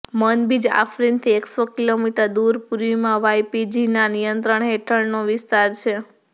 Manbij આફરીનથી એકસો kilometre દૂર પૂર્વમાં વાઈપીજીના નિયંત્રણ હેઠળનો વિસ્તાર છે